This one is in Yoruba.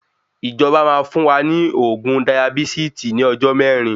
Ìjọba máa fún wa ní oògùn dayabísìtì ní ọjọ mẹrin